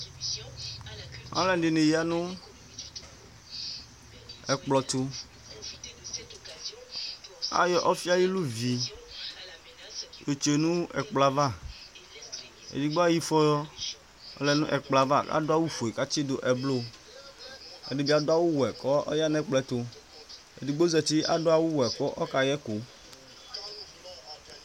aluɛdɩnɩ ya nʊ ɛkplɔɛtʊ, ayɔ ɔfi ayuɛlʊvi yɔ tsue nʊ ɛkplɔ yɛ ava, edɩ ayɔ ifɔ lɛ nʊ ɛkplɔ yɛ ava, adʊ awu fue kʊ atsidʊ eblu, ɛdɩbɩ adʊ awu wɛ kʊ ɔya nʊ ɛkplɔ yɛ tʊ, edɩgbo zati, adʊ awuwɛ kʊ ɔkayɛkʊ